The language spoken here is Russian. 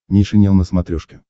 нейшенел на смотрешке